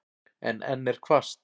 En enn er hvasst.